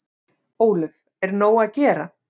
Ólöf: Er nóg að gera?